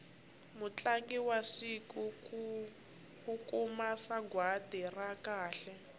mutlangi wa siku u kuma sagwati ra kahle